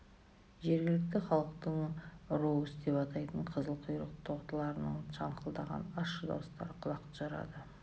жергілікті халықтың роус деп атайтын қызыл құйрық тотылардың шаңқылдаған ащы дауыстары құлақты жарады